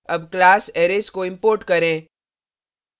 अब class arrays को import करें